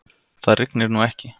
Það rignir nú ekki.